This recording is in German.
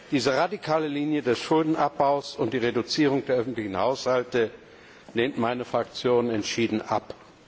Diese radikale Linie des Schuldenabbaus und die Reduzierung der öffentlichen Haushalte lehnt meine Fraktion entschieden ab.